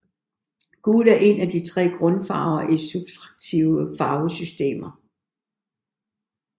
Gul er en af de tre grundfarver i subtraktive farvesystemer